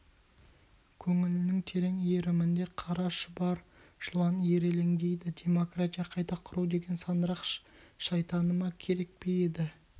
көңілінің терең иірімінде қара шұбар жылан ирелеңдейді демократия қайта құру деген сандырақ шайтаныма керек пе еді